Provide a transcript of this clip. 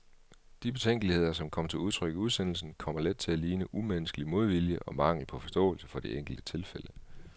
De betænkeligheder, som kom til udtryk i udsendelsen, kommer let til at ligne umenneskelig modvilje og mangel på forståelse for de enkelte tilfælde.